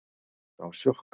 Það var sjokk